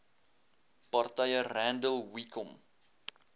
partye randall wicomb